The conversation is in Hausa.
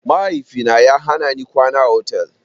Mahaifina ya hanani kwana a otal.